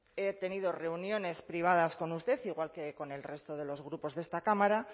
he tenido reuniones privadas con usted igual que con el resto de los grupos de esta cámara